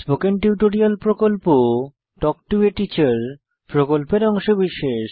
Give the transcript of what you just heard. spoken tutorial প্রকল্প talk to a teacher প্রকল্পের অংশবিশেষ